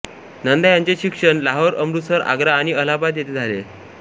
नंदा यांचे शिक्षण लाहोर अमृतसर आग्रा आणि अलाहाबाद येथे झाले